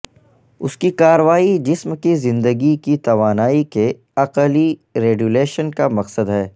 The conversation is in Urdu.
اس کی کارروائی جسم کی زندگی کی توانائی کے عقلی ریڈیولیشن کا مقصد ہے